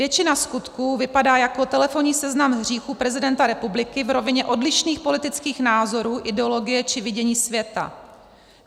Většina skutků vypadá jako telefonní seznam hříchů prezidenta republiky v rovině odlišných politických názorů, ideologie či vidění světa.